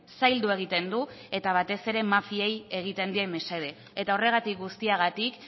zaildu egiten du eta batez ere mafiei egiten die mesede eta horregatik guztiagatik